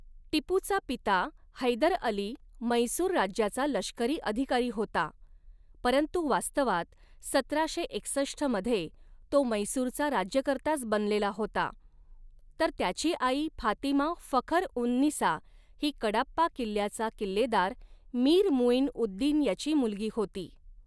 टिपूचा पिता हैदर अली म्हैसूर राज्याचा लष्करी अधिकारी होता, परंतु वास्तवात सतराशे एकसष्ट मध्ये तो म्हैसूरचा राज्यकर्ताच बनलेला होता, तर त्याची आई फातिमा फखर ऊन निसा ही कडाप्पा किल्ल्याचा किल्लेदार मीर मुईन उद दिन याची मुलगी होती.